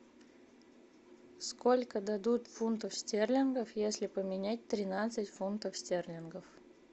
сколько дадут фунтов стерлингов если поменять тринадцать фунтов стерлингов